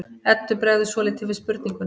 Eddu bregður svolítið við spurninguna.